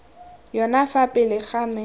yone fa pele ga me